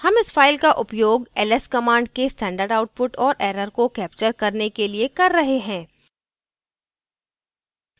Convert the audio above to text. हम इस file का उपयोग ls command के standard output और error को capture करने के लिए कर रहे हैं